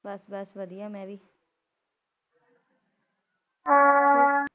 ਬਸ ਬਸ ਵਦੀਆ ਮੈ ਵੀ